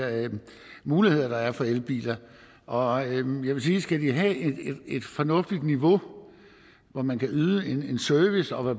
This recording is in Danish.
muligheder der er for elbiler og jeg vil sige at skal de have et fornuftigt niveau hvor man kan yde en service og hvor